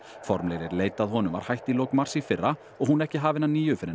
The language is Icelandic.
formlegri leit að honum var hætt í lok mars í fyrra og hún ekki hafin að nýju fyrr en